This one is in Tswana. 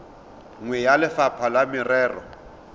nngwe ya lefapha la merero